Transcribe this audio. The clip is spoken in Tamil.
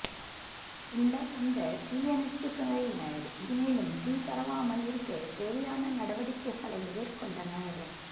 பின்னர் வந்த தீயணைப்பு துறையினர் மேலும் தீ பரவாமல் இருக்கத் தேவையான நடவடிக்கைகளை மேற்கொண்டனர்